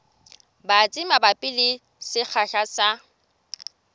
batsi mabapi le sekgahla sa